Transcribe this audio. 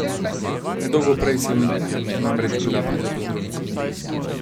Nedolgo prej sem namreč bila pri zobozdravniku.